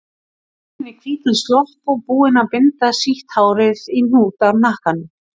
Komin í hvítan slopp og búin að binda sítt hárið í hnút í hnakkanum.